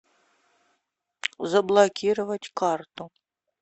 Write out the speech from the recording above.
заблокировать карту